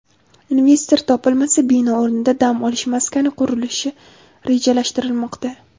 Investor topilmasa, bino o‘rnida dam olish maskani qurish rejalashtirilmoqda.